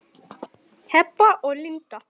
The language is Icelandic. Heba og Linda.